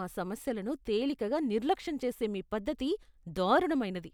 మా సమస్యలను తేలికగా నిర్లక్ష్యం చేసే మీ పద్ధతి దారుణమైనది.